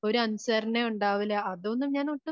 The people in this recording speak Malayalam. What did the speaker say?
ഒരു അനുസരണയും ഉണ്ടാവില്ല അതുകൊണ്ട് ഞാനൊട്ടും